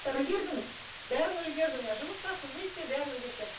үлгердіңіз бәрін үлгердім иә жұмыс та қызмет те бәрін үлгеріп